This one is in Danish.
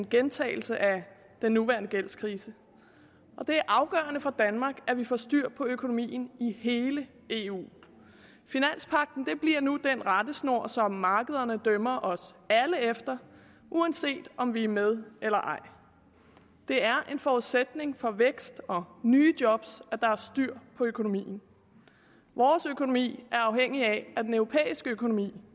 gentagelse af den nuværende gældskrise det er afgørende for danmark at vi får styr på økonomien i hele eu finanspagten bliver nu den rettesnor som markederne dømmer os alle efter uanset om vi er med eller ej det er en forudsætning for vækst og nye job at der er styr på økonomien vores økonomi er afhængig af at den europæiske økonomi